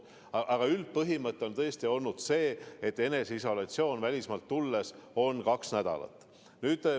Aga üldpõhimõte on tõesti see, et eneseisolatsioon välismaalt tulles on kaks nädalat.